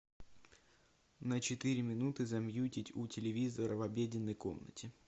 на четыре минуты замьютить у телевизора в обеденной комнате